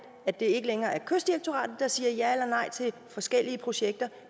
at det ikke længere er kystdirektoratet der siger ja eller nej til forskellige projekter